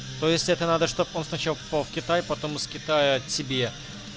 то есть это надо чтобы он сначала в китае потом из китая тебе